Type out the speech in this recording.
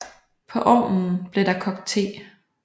På ovnen blev der kogt the